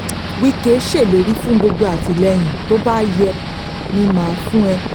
wíkẹ́ ṣèlérí fún gbogbo àtìlẹ́yìn tó bá yẹ ni mà á fún ẹ